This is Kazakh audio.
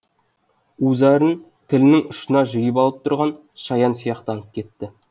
у зәрін тілінің ұшына жиып алып тұрған шаян сияқтанып кетті